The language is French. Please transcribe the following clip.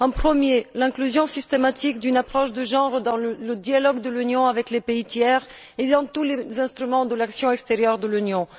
Le premier point est l'inclusion systématique d'une approche de genre dans le dialogue de l'Union avec les pays tiers et dans tous les instruments de l'action extérieure de l'Union.